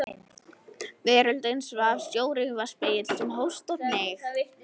Veröldin svaf, sjórinn var spegill sem hófst og hneig.